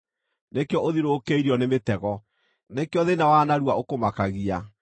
Nĩkĩo ũthiũrũrũkĩirio nĩ mĩtego, nĩkĩo thĩĩna wa narua ũkũmakagia,